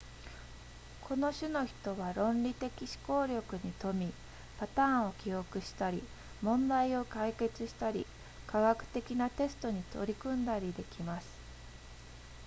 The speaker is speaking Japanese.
この種の人は論理的思考力に富みパターンを記憶したり問題を解決したり科学的なテストに取り組んだりできます